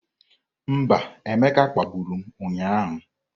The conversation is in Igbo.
Mba, Emeka kpagburu m ụnyahụ.